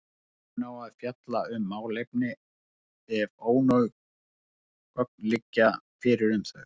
Stjórnin á að fjalla um málefni ef ónóg gögn liggja fyrir um þau.